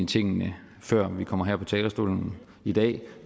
tingene før i kommer herop på talerstolen i dag